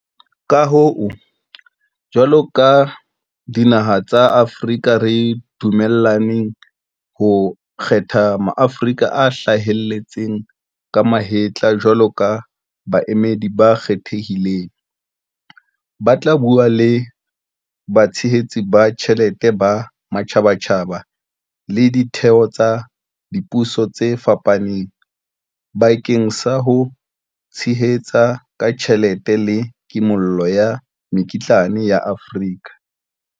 Ka hoo, jwalo ka dinaha tsa Afrika re dumellane ho kgetha Maaforika a hlaheletseng ka mahetla jwalo ka baemedi ba kgethehileng, ba tla bua le batshehetsi ba tjhelete ba matjhabatjhaba le ditheo tsa dipuso tse fapaneng bakeng sa ho tshehetsa ka tjhelete le kimollo ya mekitlane ya Afrika.